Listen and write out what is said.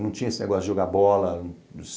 Não tinha esse negócio de jogar bola.